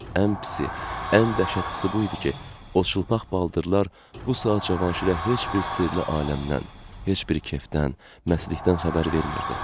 Ən pisi, ən dəhşətlisi bu idi ki, o çılpaq baldırlar bu saat Cavanşirə heç bir sirli aləmdən, heç bir kefdən, məstlikdən xəbər vermirdi.